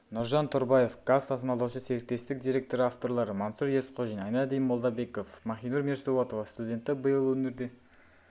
нұржан тұрбаев газ тасымалдаушы серіктестік директоры авторлары мансұр есқожин айнадин молдабеков махинур мирсоатова студенті биыл өңірде